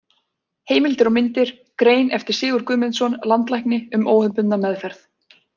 Heimildir og myndir: Grein eftir Sigurð Guðmundsson, landlækni, um óhefðbundna meðferð.